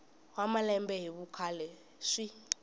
wa malembe hi vukhale swi